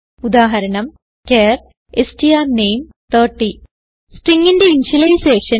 ഉദാഹരണം char strname30 stringന്റെ initialisation